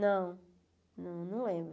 Não, não lembro.